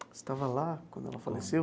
Você estava lá quando ela faleceu?